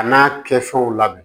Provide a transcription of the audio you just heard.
A n'a kɛfɛnw la